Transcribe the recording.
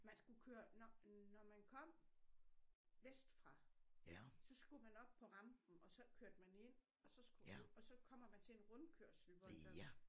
Man skulle køre når når man kom vestfra så skulle man op på rampen og så kørte man ind og så skulle og så kommer man til en rundkørsel hvor der